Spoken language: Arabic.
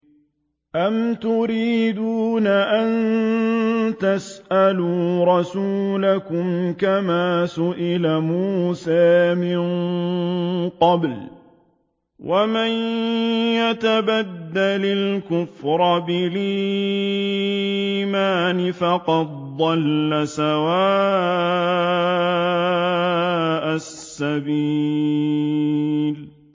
أَمْ تُرِيدُونَ أَن تَسْأَلُوا رَسُولَكُمْ كَمَا سُئِلَ مُوسَىٰ مِن قَبْلُ ۗ وَمَن يَتَبَدَّلِ الْكُفْرَ بِالْإِيمَانِ فَقَدْ ضَلَّ سَوَاءَ السَّبِيلِ